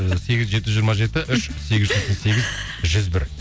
і сегіз жүз жеті жүз жиырма жеті үш жүз бір